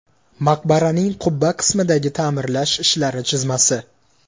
Maqbaraning qubba qismidagi ta’mirlash ishlari chizmasi.